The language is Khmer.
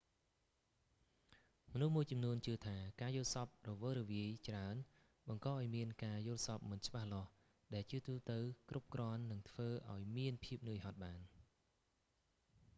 មនុស្សមួយចំនួនជឿថា ការយល់សប្ដិរវើរវាយច្រើន បង្កឲ្យមានការយល់សប្តិមិនច្បាស់លាស់ ដែលជាទូទៅ គ្រប់គ្រាន់នឹងធ្វើឲ្យមានភាពនឿយហត់បាន